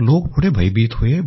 और लोग थोड़े भयभीत हुए हैं